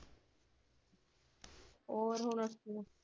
ਹੋਰ, ਹੁਣ ਉੱਠੀ ਆ।